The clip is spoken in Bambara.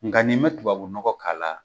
Nka nin ma tubabu nɔgɔ k'a la